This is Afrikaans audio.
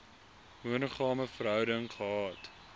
monogame verhouding gehad